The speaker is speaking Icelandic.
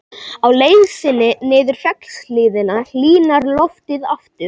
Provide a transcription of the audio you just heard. Á leið sinni niður fjallshlíðina hlýnar loftið aftur.